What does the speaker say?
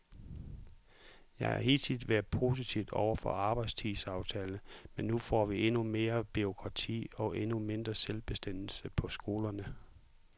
Jeg har hidtil været positiv over for arbejdstidsaftalen, men nu får vi endnu mere bureaukrati og endnu mindre selvbestemmelse på skolerne.